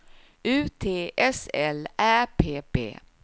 U T S L Ä P P